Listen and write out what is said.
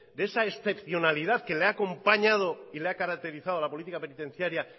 de esa excepcionalidad que le ha acompañado y le ha caracterizado a la política penitenciaria